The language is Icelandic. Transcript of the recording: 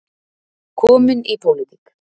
Kominn í pólitík.